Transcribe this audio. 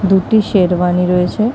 দুটি শেরওয়ানি রয়েছে।